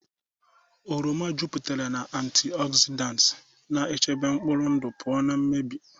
Oranges jupụtara na antioxidants, na-echebe mkpụrụ ndụ pụọ na mmebi.